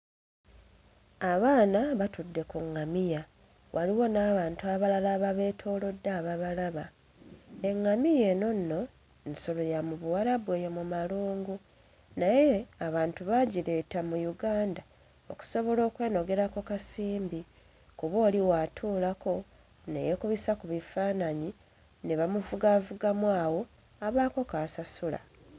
Abaana batudde ku ŋŋamiya waliwo n'abantu abalala ababeetoolodde ababalaba, eŋŋamiya eno nno nsolo ya mu Buwalubu eyo mu malungu, naye abantu baagireeta mu Uganda okusobola okwenogera ku kasimbi kuba oli bw'atuulako ne yeekubisa ku bifaananyi ne bamuvugaavugamu awo abaako k'asasula.